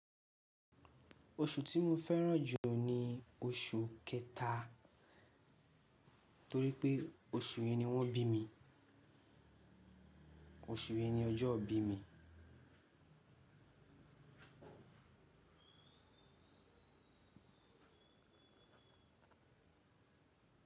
Oṣù tí mo fẹ́ràn jù ni oṣù kẹta torí pé oṣù yẹn ni wọ́n bí mi, oṣù yẹn ni ọjọ́ ìbí mi.